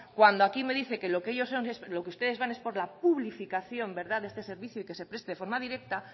cuando aquí me dice que lo que ustedes van es por la publificación de este servicio y que se preste de forma directa